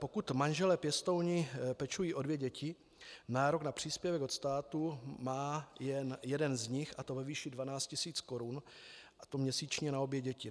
Pokud manželé pěstouni pečují o dvě děti, nárok na příspěvek od státu má jen jeden z nich, a to ve výši 12 tisíc korun, a to měsíčně na obě děti.